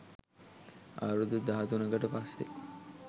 අවුරුදු දහතුනකට පස්සේ